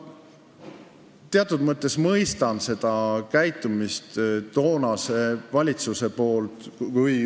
Ma teatud mõttes mõistan toonase valitsuse käitumist.